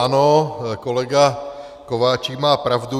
Ano, kolega Kováčik má pravdu.